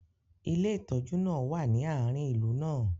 ilé ìtójú náà wa ni aarin ìlú náà